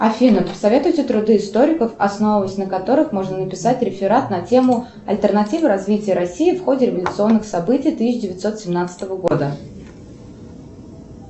афина посоветуйте труды историков основываясь на которых можно написать реферат на тему альтернативы развития россии в ходе революционных событий тысяча девятьсот семнадцатого года